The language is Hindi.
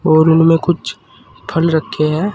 और उनमें कुछ फल रखे हैं।